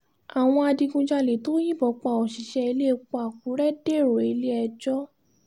àwọn adigunjalè tó yìnbọn pa òṣìṣẹ́ iléepo àkúrẹ́ dèrò ilé-ẹjọ́